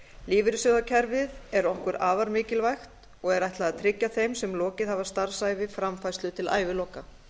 lífeyrissjóðakerfið er okkur afar mikilvægt og er ætlað að tryggja þeim sem lokið hafa starfsævi framfærslu til æviloka